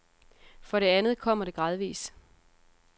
For det andet kommer det gradvis.